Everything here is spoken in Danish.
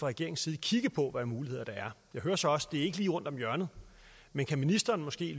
regeringens side kigge på af muligheder jeg hører så også det er lige rundt om hjørnet men kan ministeren måske